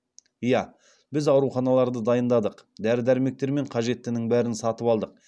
ия біз ауруханаларды дайындадық дәрі дәрмектер мен қажеттінің бәрін сатып алдық